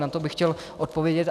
Na to bych chtěl odpovědět.